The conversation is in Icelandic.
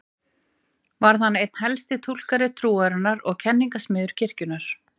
Varð hann einn helsti túlkandi trúarinnar og kenningasmiður kirkjunnar.